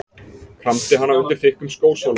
Kramdi hana undir þykkum skósóla.